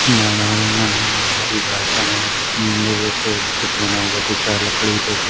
मैदान है मैदान में हरी घासे हैं औ मंदिर जैसे कुछ बना हुआ दिख रहा है लकड़ी जैसे --